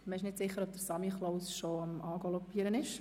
Man ist nicht sicher, ob der «Samichlaus» bereits angaloppiert kommt.